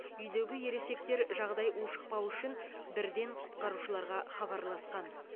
үйдегі ересектер жағдай ушықпауы үшін бірден құтқарушыларға хабарласқан